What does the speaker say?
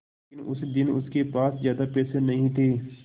लेकिन उस दिन उसके पास ज्यादा पैसे नहीं थे